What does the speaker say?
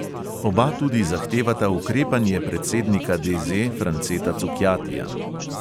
Oba tudi zahtevata ukrepanje predsednika DZ franceta cukjatija.